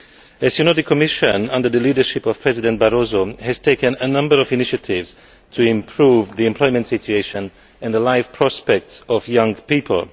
As you know, the Commission under the leadership of President Barroso has taken a number of initiatives to improve the employment situation and the life prospects of young people.